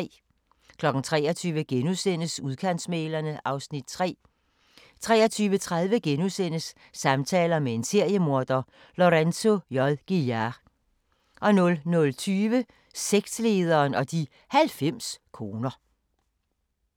23:00: Udkantsmæglerne (Afs. 3)* 23:30: Samtaler med en seriemorder – Lorenzo J. Gilyard * 00:20: Sektlederen og de 90 koner